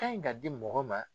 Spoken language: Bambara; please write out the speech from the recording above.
Ka ɲi ka di mɔgɔw ma